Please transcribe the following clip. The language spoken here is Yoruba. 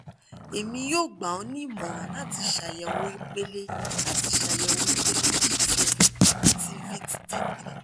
emi yoo gba ọ ni imọran lati ṣayẹwo ipele lati ṣayẹwo ipele b twelve ati vit d three